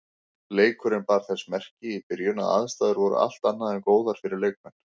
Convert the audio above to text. Leikurinn bar þess merki í byrjun að aðstæður voru allt annað en góðar fyrir leikmenn.